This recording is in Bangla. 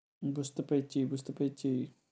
বুঝতে পেরেছি, বুঝতে পেরেছি।